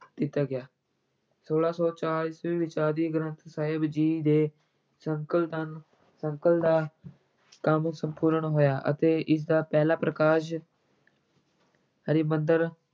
ਦਿੱਤਾ ਗਿਆ, ਛੋਲਾਂ ਸੌ ਚਾਰ ਈਸਵੀ ਵਿੱਚ ਆਦਿ ਗ੍ਰੰਥ ਸਾਹਿਬ ਜੀ ਦੇ ਸੰਕਲਨ ਕਰਨ ਸੰਕਲ ਦਾ ਕੰਮ ਸੰਪੂਰਨ ਹੋਇਆ ਅਤੇ ਇਸਦਾ ਪਹਿਲਾ ਪ੍ਰਕਾਸ਼ ਹਰਿਮੰਦਰ